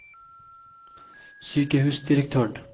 sykehusdirektøren